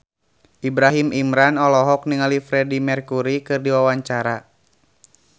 Ibrahim Imran olohok ningali Freedie Mercury keur diwawancara